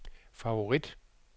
favorit